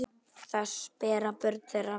Þess bera börn þeirra vitni.